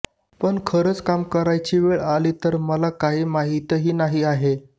पण खरच काम करायची वेळ आली तर मला काही माहीतही नाही आहे